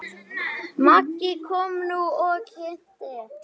Maggi kom nú og kynnti.